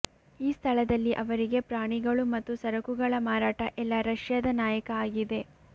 ಈ ಸ್ಥಳದಲ್ಲಿ ಅವರಿಗೆ ಪ್ರಾಣಿಗಳು ಮತ್ತು ಸರಕುಗಳ ಮಾರಾಟ ಎಲ್ಲ ರಷ್ಯಾದ ನಾಯಕ ಆಗಿದೆ